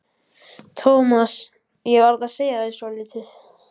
Thomas, ég verð að segja þér svolítið.